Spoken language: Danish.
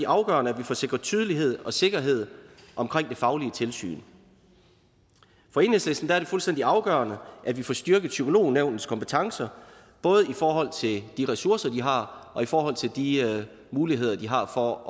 afgørende at vi får sikret tydelighed og sikkerhed omkring det faglige tilsyn for enhedslisten er det fuldstændig afgørende at vi får styrket psykolognævnets kompetencer både i forhold til de ressourcer de har og i forhold til de muligheder de har for at